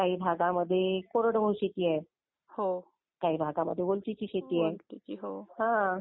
काही भागांमध्ये. कोरडवाहू शेती आहे.